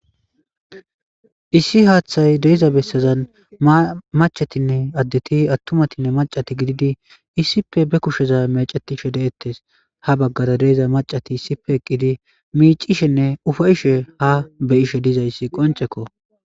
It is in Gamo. Issi haaththay deiza bessazan machatinne addeti attumatinne macati gididi issippe be kusheza mecetishe de'ettes ha baggara deeza macati issipe eqqidi miicishenne ufayishe ha beyishe dizayssi qoncekko.